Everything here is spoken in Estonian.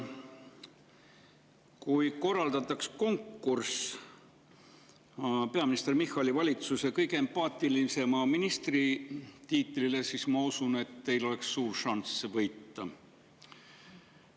Kui korraldataks konkurss peaminister Michali valitsuse kõige empaatilisema ministri tiitlile, siis ma usun, et teil oleks suur šanss see võita.